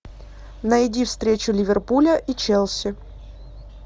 найди встречу ливерпуля и челси